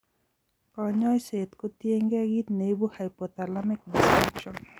Kanyoiset kotiengei kiit neibu hypothalamic dysfunction